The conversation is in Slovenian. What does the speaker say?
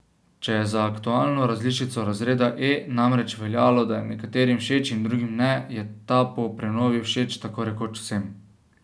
Če je za aktualno različico razreda E namreč veljalo, da je nekaterim všeč in drugim ne, je ta po prenovi všeč tako rekoč vsem.